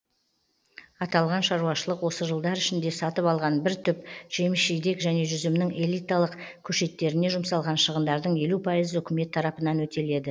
аталған шаруашылық осы жылдар ішінде сатып алған бір түп жеміс жидек және жүзімнің элиталық көшеттеріне жұмсалған шығындардың елу пайызы үкімет тарапынан өтеледі